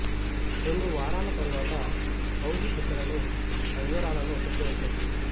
రెండు వారాల తరువాత కౌజు పిట్టలను పంజరాలలో పెట్టి పెంచవచ్చు